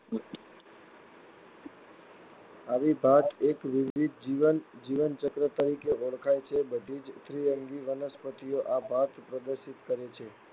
આવી ભાત એક-દ્વિવિધ જીવન જીવનચક્ર તરીકે ઓળખાય છે. બધી જ ત્રીઅંગી વનસ્પતિઓ આ ભાત પ્રદર્શિત કરે છે.